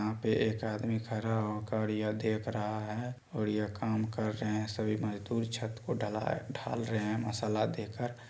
एक पे आदमी खड़ा होकर यहा देख रहा है और यह काम कर रहे हैं सभी मजदूर छत को ढाला-ढाल रहे हैं मसाला देकर--